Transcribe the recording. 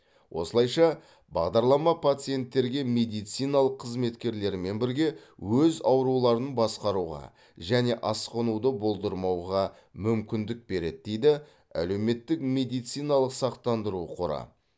осылайша бағдарлама пациенттерге медициналық қызметкерлермен бірге өз ауруларын басқаруға және асқынуды болдырмауға мүмкіндік береді дейді әлеуметтік медициналық сақтандыру қоры